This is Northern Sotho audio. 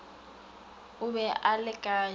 o be a le kae